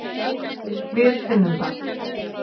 Við finnum það.